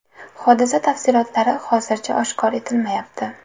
Hodisa tafsilotlari hozircha oshkor etilmayapti.